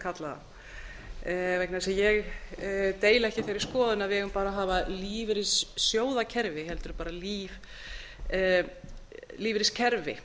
kalla það vegna þess að ég deili ekki þeirri skoðun að við eigum bara að hafa lífeyrissjóðakerfi heldur bara lífeyriskerfi